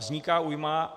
Vzniká újma.